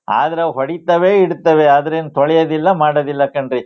ಆದ್ರೆ ಹೊಡಿತಾವೆ ಇಡ್ತಾವೆ ಅದನ್ನ ತೊಳಿಯೋದಿಲ್ಲಾ ಮಾಡೋದಿಲ್ಲ ಕಣ್ರೀ